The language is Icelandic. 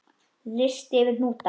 Listi yfir hnúta